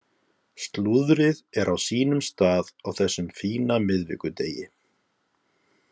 Slúðrið er á sínum stað á þessum fína miðvikudegi.